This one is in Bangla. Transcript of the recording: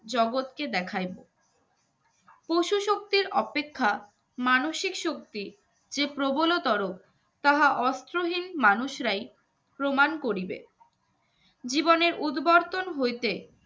জগতকে দেখাইবো পশু শক্তির অপেক্ষা মানসিক শক্তি যে প্রবল তর তাহা অস্ত্রহীন মানুষরাই প্রমাণ করিবে জীবনের উদবর্তন হইতে